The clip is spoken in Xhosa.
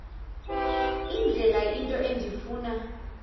indlela into endifuna